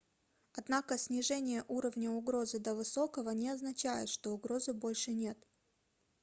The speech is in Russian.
однако снижение уровня угрозы до высокого не означает что угрозы больше нет